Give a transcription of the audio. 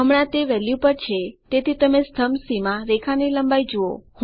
હમણા તે વેલ્યુ પર છે તેથી તમે સ્તંભ સી માં રેખા ની લંબાઈ જુઓ